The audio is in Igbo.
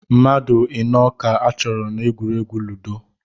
Mmadụ ịnọ ka achọrọ n'egwuregwu ludo